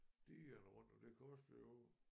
Digerne rundt om den kunstige å